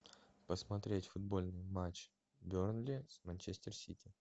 посмотреть футбольный матч бернли с манчестер сити